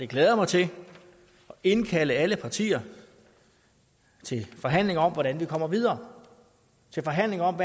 glæder mig til at indkalde alle partier til forhandling om hvordan vi kommer videre til forhandling om